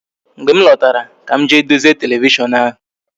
Mgbe m lọtara ka m jee dozie televishon ahụ